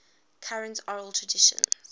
current oral traditions